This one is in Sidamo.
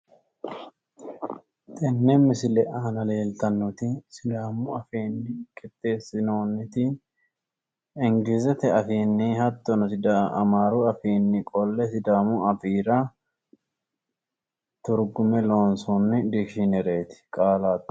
Tenne misile aana leeltannoti sidaamu afiinni qixxeessinoonniti inglizete afiinni hattono amaaru afiinni qolle sidaamu afiira turgume loonsoonnni dikishiinereeti qaallaati.